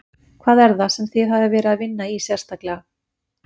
Hvað er það sem þið hafið verið að vinna í sérstaklega?